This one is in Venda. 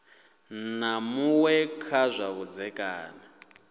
na muṅwe kha zwa vhudzekani